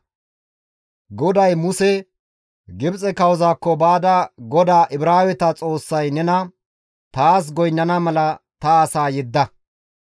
GODAY Muse, «Gibxe kawozaakko baada GODAA Ibraaweta Xoossay nena, ‹Taas goynnana mala ta asaa yedda;